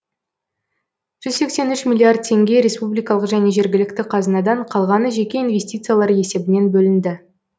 жүз сексен үш миллиард теңге республикалық және жергілікті қазынадан қалғаны жеке инвестициялар есебінен бөлінді